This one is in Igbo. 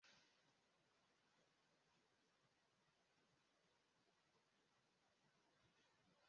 Dora Akunyili nwụrụ na ụbọchị asaa ọnwa Juun nke afọ puku abụọ na iri na anọ ka ọ rịasịrị kansa.